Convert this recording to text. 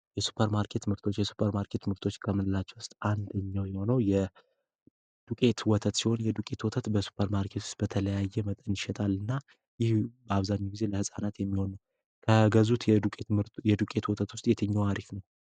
የሱፐር ማርኬት ምርቶች የሱፐር ማርኬት ምርቶች ከምንላቸው ውስጥ አንደኛው የሆነው የ ዱቄት ወተት ሲሆን፤ ይህ የዱቄት ወተት በሱፐርማርኬትው ውስጥ በተለያየ ይሸጣልና ይህ አብዛሃኛው ጊዜ ለህፃናት የሚሆኑ፤ ከገዙት የዱቄት የዱቄት ወተት ውስጥ የትኛው አሪፍ ነው?